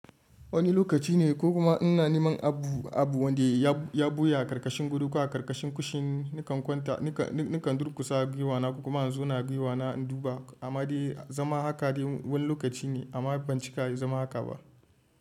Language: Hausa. Wani lokaci ne ko kuma ina neman abu wanda ya ɓuya karkashin guri ko a karkashin kushin nakan kwanta, nakan durkusa giwa na ko kuma in zo na giwa na in duba, amma dai zama haka dai wani lokaci ne amma ban cika zama haka ba.